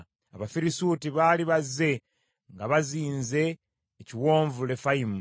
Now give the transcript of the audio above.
Abafirisuuti baali bazze nga bazinze ekiwonvu Lefayimu;